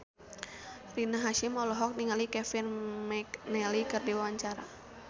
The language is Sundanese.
Rina Hasyim olohok ningali Kevin McNally keur diwawancara